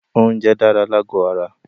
Oúnjẹ dára lágò ara.